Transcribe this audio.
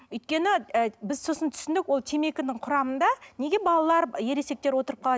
өйткені біз сосын түсіндік ол темекінің құрамында неге балалар ересектер отырып қалады